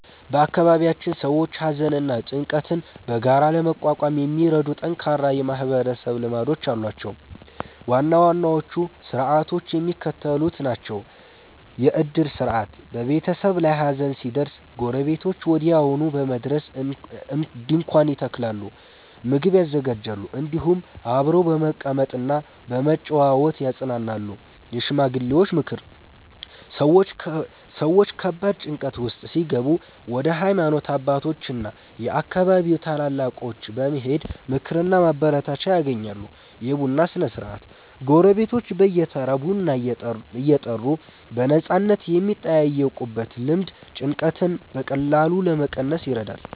በአካባቢያችን ሰዎች ሐዘንና ጭንቀትን በጋራ ለመቋቋም የሚረዱ ጠንካራ የማህበረሰብ ልማዶች አሏቸው። ዋና ዋናዎቹ ሥርዓቶች የሚከተሉት ናቸው፦ የዕድር ሥርዓት፦ በቤተሰብ ላይ ሐዘን ሲደርስ ጎረቤቶች ወዲያውኑ በመድረስ ድንኳን ይተክላሉ፣ ምግብ ያዘጋጃሉ፤ እንዲሁም አብረው በመቀመጥና በመጨዋወት ያጽናናሉ። የሽማግሌዎች ምክር፦ ሰዎች ከባድ ጭንቀት ውስጥ ሲገቡ ወደ ሃይማኖት አባቶችና የአካባቢው ታላላቆች በመሄድ ምክርና ማበረታቻ ያገኛሉ። የቡና ሥነ-ሥርዓት፦ ጎረቤቶች በየተራ ቡና እየጠሩ በነፃነት የሚጠያየቁበት ልማድ ጭንቀትን በቀላሉ ለመቀነስ ይረዳል።